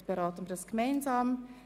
Wir kommen zu Artikel 42.